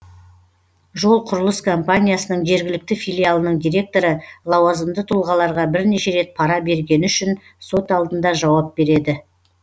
жол құрылыс компаниясының жергілікті филиалының директоры лауазымды тұлғаларға бірнеше рет пара бергені үшін сот алдында жауап береді